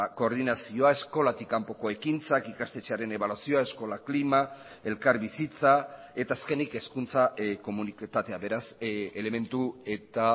koordinazioa eskolatik kanpoko ekintzak ikastetxearen ebaluazioa eskola klima elkarbizitza eta azkenik hezkuntza komunitatea beraz elementu eta